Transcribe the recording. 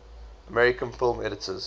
american film editors